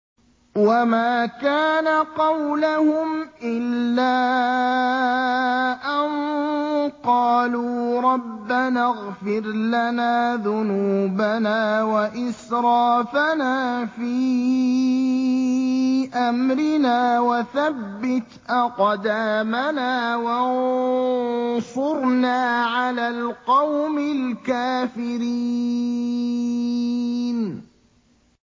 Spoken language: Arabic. وَمَا كَانَ قَوْلَهُمْ إِلَّا أَن قَالُوا رَبَّنَا اغْفِرْ لَنَا ذُنُوبَنَا وَإِسْرَافَنَا فِي أَمْرِنَا وَثَبِّتْ أَقْدَامَنَا وَانصُرْنَا عَلَى الْقَوْمِ الْكَافِرِينَ